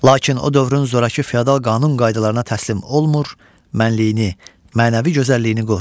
Lakin o dövrün zorakı feodal qanun qaydalarına təslim olmur, mənliyini, mənəvi gözəlliyini qoruyur.